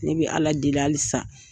Ne bɛ Ala deli hali sa.